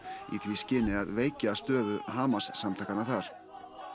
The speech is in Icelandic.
í því skyni að veikja stöðu Hamas samtakanna þar